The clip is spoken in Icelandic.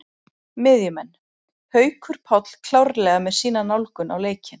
Miðjumenn: Haukur Páll klárlega með sína nálgun á leikinn.